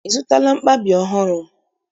I zụtala mkpabi ọhụrụ?